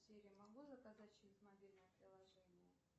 сири могу заказать через мобильное приложение